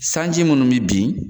Sanji minnu bɛ bin